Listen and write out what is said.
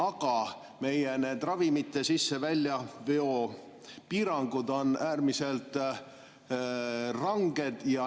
Aga meil on need ravimite sisse‑ ja väljaveo piirangud äärmiselt ranged.